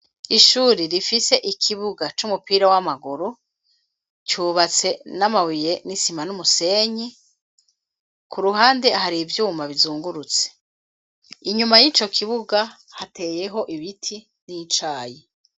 Ishure rifise ikibuga c'umupira w'amaguru cubatse n'amabuye n'isima n'umusenyi ku ruhande hari ivyuma bizungurutse. Inyuma y'ico kibuga hateyeho ibiti n'icayi.